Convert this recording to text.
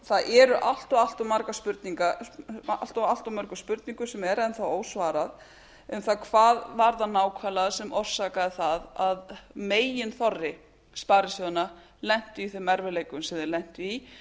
það er allt of allt of mörgum spurningum sem er enn þá ósvarað um það hvað það var nákvæmlega sem orsakaði það að meginþorri sparisjóðanna lenti í þeim erfiðleikum sem þeir lentu í